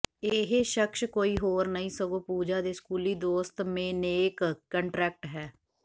ਇਹ ਸ਼ਖਸ ਕੋਈ ਹੋਰ ਨਹੀਂ ਸਗੋਂ ਪੂਜਾ ਦੇ ਸਕੂਲੀ ਦੋਸਤ ਮੈਨੇਕ ਕੰਟਰੈਕਟ ਹੈ